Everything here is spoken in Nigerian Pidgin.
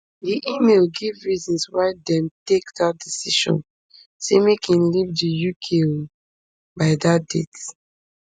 di email give reasons why dem take dat decision say make im leave di uk um by dat date